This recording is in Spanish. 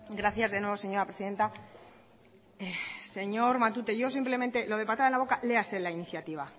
gracias de nuevo señora presidenta señor matute yo simplemente lo de patada en la boca leáse la iniciativa